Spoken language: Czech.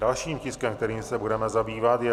Dalším tiskem, kterým se budeme zabývat, je